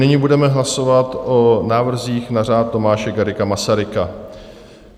Nyní budeme hlasovat o návrzích na Řád Tomáše Garrigua Masaryka.